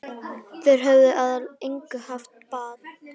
Þeir höfðu að engu haft bann